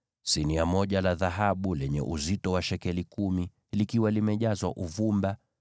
sinia moja la dhahabu lenye uzito wa shekeli kumi, likiwa limejazwa uvumba;